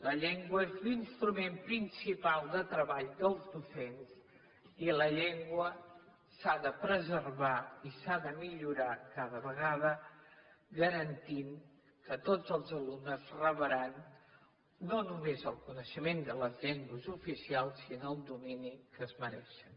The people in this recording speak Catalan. la llengua és l’instrument principal de treball dels docents i la llengua s’ha de preservar i s’ha de millorar cada vegada garantint que tots els alumnes rebran no només el coneixement de les llengües oficials sinó el domini que es mereixen